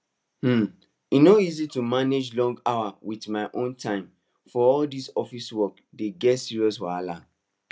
um e no easy to manage long hours with my own time for all dis office work dey get serious wahala